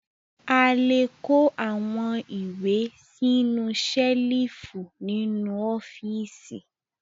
A le kó àwọn ìwé sínú ṣẹ́lífù nínú ọ́fíísì.